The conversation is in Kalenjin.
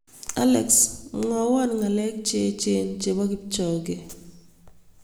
Alex mwawon ng'alek che echen che po Kipchoge